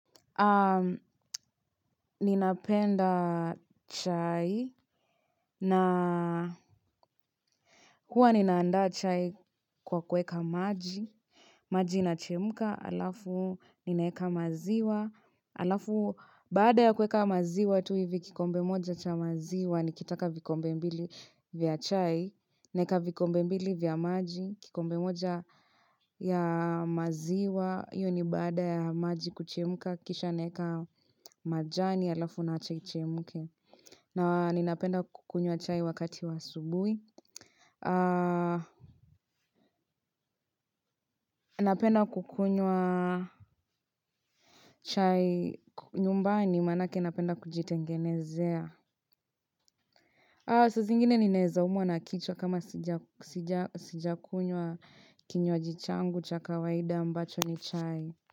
A ninapenda chai na huwa ninaanda chai kwa kuweka maji. Maji inachemka alafu ninaweka maziwa. Alafu baada ya kuweka maziwa tu hivi kikombe moja cha maziwa. Nikitaka vikombe mbili vya chai. Naeka vikombe mbili vya maji. Kikombe moja ya maziwa. Hio ni baada ya maji kuchemuka. Kisha naeka majani alafu naacha ichemke. Na ninapenda kukunywa chai wakati wa asubuhi. Napenda kukunywa chai nyumbani. Manake napenda kujitengenezea. Saa zingine ninaeza umwa na kichwa kama sijakunywa kinywaji changu cha kawaida ambacho ni chai.